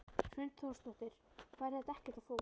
Hrund Þórsdóttir: Fær þetta ekkert á fólk?